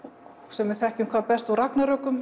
sem við þekkjum hvað best úr